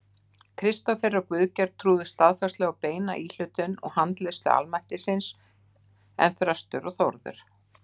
Kristófer og Guðgeir trúðu staðfastlega á beina íhlutun og handleiðslu almættisins, en Þröstur og Þórður